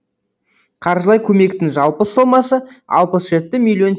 қаржылай көмектің жалпы сомасы алпыс жеті миллион